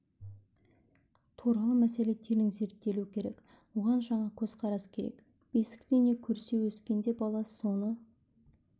туралы мәселе терең зерттелуі керек оған жаңа көзқарас керек бесікте не көрсе өскенде бала соны